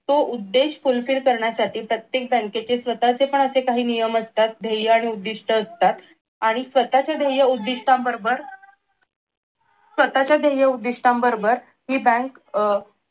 तो उद्देश fulfill करण्यासाठी प्रत्येक बँकेचे स्वतःचे पण असे काही नियम असतात ध्येय आणि उद्दिष्ट असतात आणि स्वतःचे ध्येय आणि उदिष्ठांबरोबर स्वतःच्या ध्येय उदिष्ठांबरोबर हि बँक अह